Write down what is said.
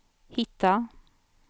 hitta